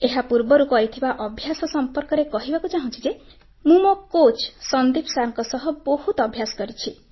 ଏହାପୂର୍ବରୁ କରିଥିବା ଅଭ୍ୟାସ ସମ୍ପର୍କରେ କହିବାକୁ ଚାହୁଁଛି ଯେ ମୁଁ ମୋ କୋଚ୍ ସନ୍ଦୀପ ସାର୍ ଙ୍କ ସହ ବହୁତ ଅଭ୍ୟାସ କରିଛି